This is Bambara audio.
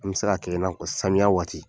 An bɛ se ka kɛ i n'a fɔ samiya waati.